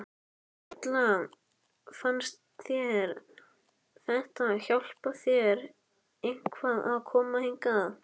Erla: Fannst þér þetta hjálpa þér eitthvað að koma hingað?